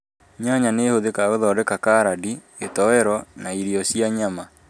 Nyanya nĩ ĩhũthĩkaga gũthondeka caradi, gĩtowero na irio cia nyama